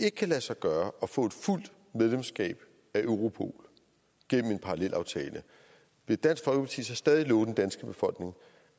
ikke kan lade sig gøre at få et fuldt medlemskab af europol gennem en parallelaftale vil dansk folkeparti så stadig love den danske befolkning